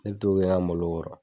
Ne bɛ t'o kɛ n ka malo kɔrɔ.